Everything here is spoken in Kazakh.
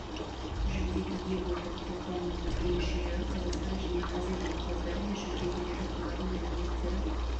жүлдеге ие болды ұлттық құраманың өзге мүшелері қазақстан және азия жеңімпаздары мен жүлдегерлері олардың әлеуеттері